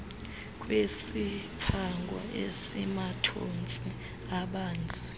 kwesiphango esimathontsi abanzi